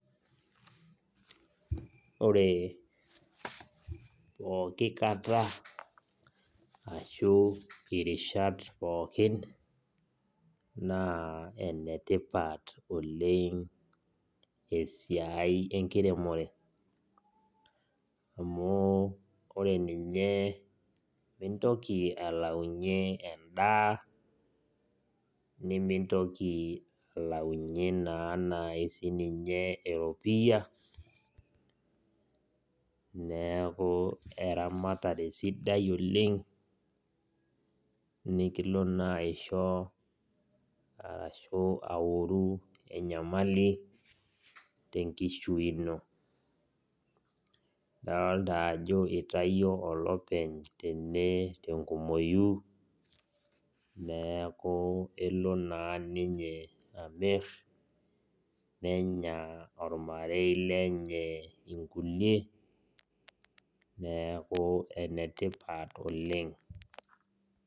Ore pooki kata arashu irishat pookin na enetipat oleng esiai enkiremore amu ninye mintoki ainguraki nimintoki na alaunye na sininye eropiya neaku eramatare sidai oleng nikilo na aisho arashu aoru enyamali ndolta ajo itawuo olopeny tenkumoi neaku kelo olopeny amir nenya ormarei lenye nkulie, neaku enetipat oleng.